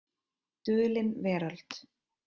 Dulin veröld.